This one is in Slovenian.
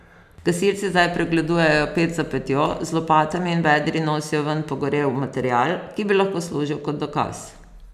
Gasilci zdaj pregledujejo ped za pedjo, z lopatami in vedri nosijo ven pogorel material, ki bi lahko služil kot dokaz.